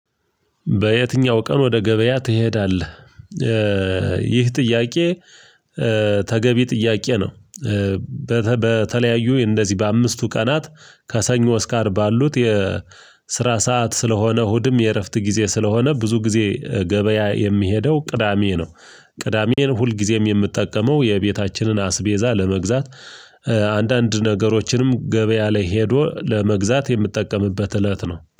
በየትኛው ቀን ወደ ገበያ ትሄዳለህ? ይህ ጥያቄ ተገቢ ጥያቄ ነው፤ በተለያዩ እንደዚህ በአምስቱ ቀናት ከሰኞ እስከ አር ባሉት የስራ ሰዓት ስለሆነ እሁድም የእረፍት ጊዜ ስለሆነ ብዙ ጊዜ ገበያ የሚሄደው ቅዳሜ ነው፤ ቅዳሜን ሁልጊዜም የምትጠቀመው የቤታችንን አስቤዛ ለመግዛት አንዳንድ ነገሮችንም ገበያ ላይ ሄዶ ለመግዛት የምጠቀምበት እለት ነው፤